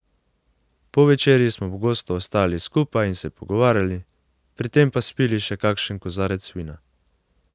Po večerji smo pogosto ostajali skupaj in se pogovarjali, pri tem pa spili še kakšen kozarec vina.